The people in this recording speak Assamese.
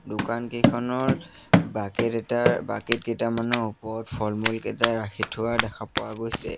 দোকানকেইখনৰ বাকেট এটাৰ বাকেট কেইটামানৰ ওপৰত ফলমূল কেইটা ৰাখি থোৱা দেখা পোৱা গৈছে।